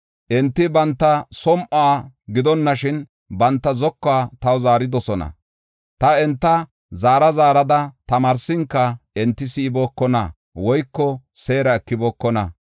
Enti banta som7uwa gidonashin, banta zokuwa taw zaaridosona. Ta enta zaara zaarada tamaarsinka, enti si7ibookona woyko seera ekibookona.